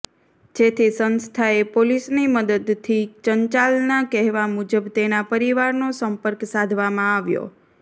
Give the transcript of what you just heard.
જેથી સંસ્થાએ પોલીસની મદદથી ચંચલના કહેવા મુજબ તેના પરિવારનો સંપર્ક સાધવામાં આવ્યો